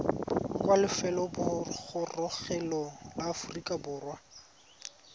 kwa lefelobogorogelong la aforika borwa